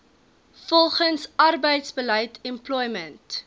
volgens arbeidsbeleid employment